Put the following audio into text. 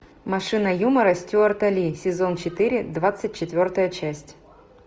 машина юмора стюарта ли сезон четыре двадцать четвертая часть